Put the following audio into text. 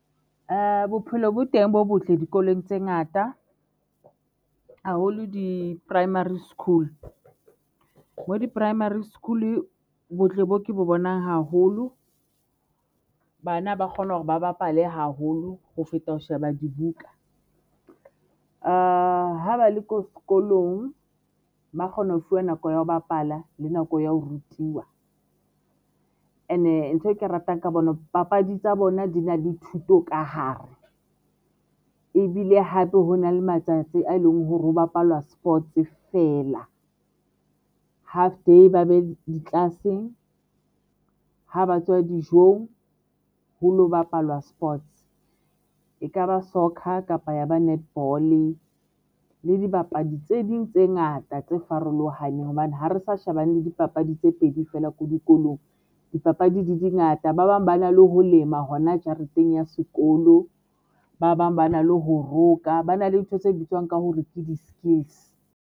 Bophelo bo teng bo botle dikolong tse ngata haholo di-primary school ho di-primary school. Botle bo ke bo bonang haholo. Bana ba kgona hore ba bapale haholo ho feta ho sheba dibuka ho ba le ko sekolong ba kgona ho fuwa nako ya ho bapala le nako ya ho rutiwa ene ntho e ke ratang ka bona papadi tsa bona di na le thuto ka hare ebile hape hona le matsatsi a e leng hore ho bapalwa sports feela half di ba be di tlase ha ba tswa dijong ho lo bapalwa sports ekaba soccer kapa ya ba netball le dibapadi tse ding tse ngata tse farolohaneng Hobane ha re sa shebane le dipapadi tse Pedi feela ko dikolong, dipapadi di di ngata ba bang ba na le ho lema hona jareteng ya sekolo. Ba bang ba na le ho roka, ba na le ntho tse bitswang ka hore ke di-skills.